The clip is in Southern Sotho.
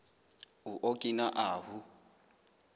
o okina ahu